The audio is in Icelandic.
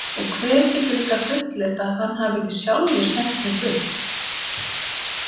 Og hver getur líka fullyrt að hann hafi ekki sjálfur sent mig burt?